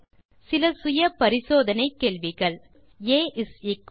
தீர்வு காண சில செல்ஃப் அசெஸ்மென்ட் கேள்விகள் 1